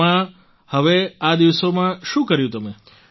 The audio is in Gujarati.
તેમાં હવે આ દિવસોમાં શું કર્યું તમે